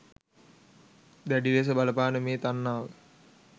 දැඩි ලෙස බලපාන මේ තණ්හාව